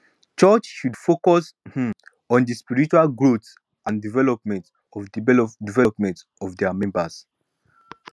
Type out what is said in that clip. church should focus um on di spiritual growth and development of development of dia members